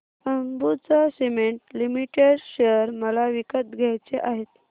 Ambuja cement limited share मला विकत घ्यायचे आहेत